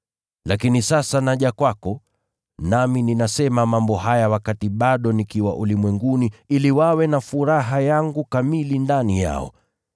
“Lakini sasa naja kwako, nami ninasema mambo haya wakati bado nikiwa ulimwenguni, ili wawe na furaha yangu kamili ndani yao.